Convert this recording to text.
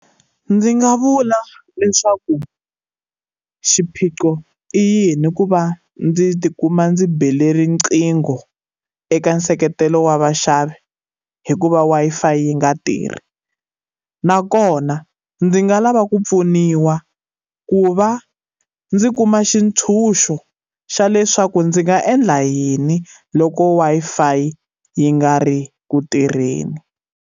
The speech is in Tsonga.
Ndzi nga vula leswaku xiphiqo i yini ku va ndzi ti kuma ndzi bela riqingho eka nseketelo wa vaxavi hikuva Wi-Fi yi nga tirhi. Nakona ndzi nga lava ku pfuniwa ku va ndzi kuma xintshuxo xa leswaku ndzi nga endla yini loko Wi-Fi yi nga ri ku tirheni.